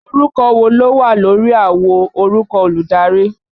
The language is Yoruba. Orúkọ wo ló wà lórí àwo orúkọ olùdarí?